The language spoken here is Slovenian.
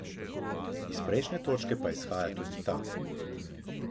Iz prejšnje točke pa izhaja tudi ta.